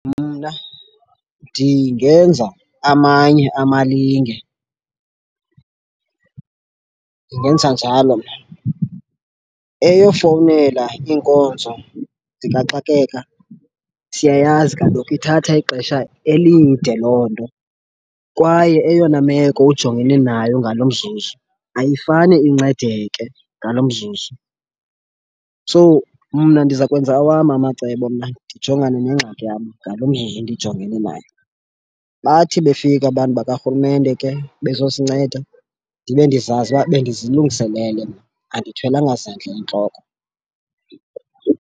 Mna ndingenza amanye amalinge. Ndingenza njalo mna. Eyofowunela iinkonzo zikaxakeka siyayazi kaloku ithatha ixesha elide loo nto kwaye eyona meko ujongene nayo ngalo mzuzu ayifane incedeke ngalo mzuzu. So mna ndiza kwenza awam amacebo mna ndijongane neengxaki yam ngalo mehe ndijongene nayo, bathi befika abantu bakarhulumente ke bezosinceda ndibe ndizazi ukuba bendizilungiselele mna andithwelanga zandla entloko.